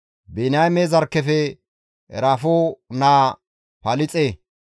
Biniyaame zarkkefe Eraafo naa Palixe,